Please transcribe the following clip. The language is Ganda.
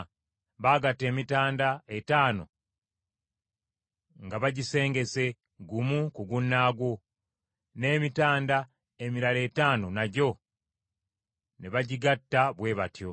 Baagatta emitanda etaano nga bagisengese, gumu ku gunnaagwo, n’emitanda emirala etaano nagyo ne bagigatta bwe batyo.